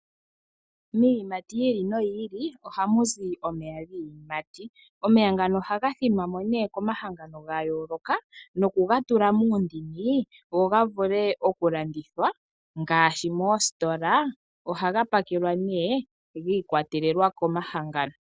Miiyimati yi ili noyi ili ohamu zi omeya giiyimati, omeya ngano ohaga thinwamo nee ko mahangano ga yooloka noku ga tula muundini go ga vule oku landithwa ngaashi moositola. Ohaga pakelwa nee giikwatelela komahangano